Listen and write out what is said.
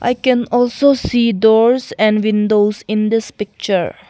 I can also see doors and windows in this picture.